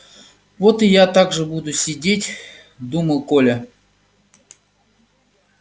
вот и я так же буду сидеть думал коля